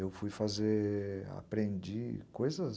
Eu fui fazer, aprendi coisas...